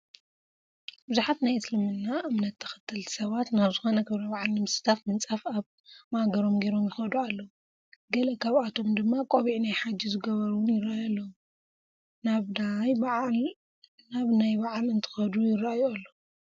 ብዙሓት ናይ እስልምና እምነት ተኸተልቲ ሰባት ናብ ዝኾነ ክብረ በዓል ንምስታፍ ምንፃፍ ኣብ ማእገሮም ገይሮም ይኸዱ ኣለው፡፡ ገለ ካብኣቶም ድማ ቆቢዕ ናይ ሓጂ ዝገበሩ ውን ይረአዩ ኣለው፡፡ ናብ ናይ በዓል እንትኸዱ ይራኣዩ ኣለው?